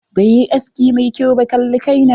Bai yi aski mai kyau ba, kalli kai na.